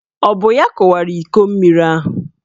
Ọ bụ ya kụwara iko mmiri ahụ?